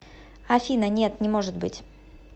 афина нет не может быть